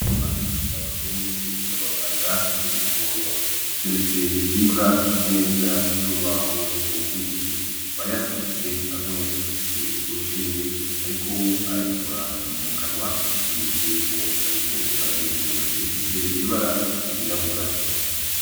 Ndikumana na Basabose n'abaganga b'ibitungwa, bateretse imbwa ku meza y'urubaho rw'igiti bayasamitse, umwe afise urushinge ariko ayikora mu kanwa nk'ikimenyetso yuko ariko arayivura, ifise ibara ryirabura.